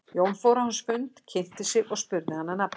Jón fór á hans fund, kynnti sig og spurði hann að nafni.